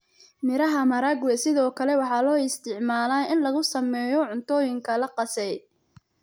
Miraha maharagwe sidoo kale waxaa loo isticmaalaa in lagu sameeyo cuntooyin la qasay.